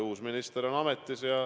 Uus minister on ametis.